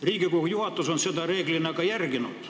Riigikogu juhatus on seda reeglina ka järginud.